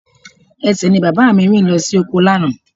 Ẹsẹ̀ ni bàbá mi fi rìn lọ sí oko lánàá